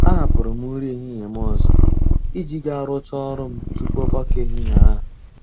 A hapụru m nri ehihie m ọzọ, iji ga rụchaa ọrụ m tupu ọgbakọ ehihie ahụ.